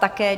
Také.